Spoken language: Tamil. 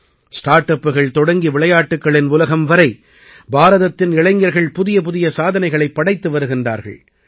ஸ்டார்ட் அப்புகள் தொடங்கி விளையாட்டுக்களின் உலகம் வரை பாரதத்தின் இளைஞர்கள் புதியபுதிய சாதனைகளைப் படைத்து வருகிறார்கள்